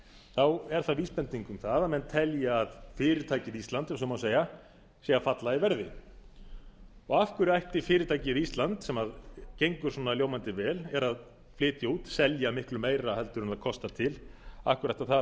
þá er það vísbending um að menn telji að fyrirtækið ísland ef svo má segja sé að falla í verði og af hverju ætti fyrirtækið ísland sem gengur svona ljómandi vel er að flytja út selja miklu meira heldur en það kostar til af hverju ætti það að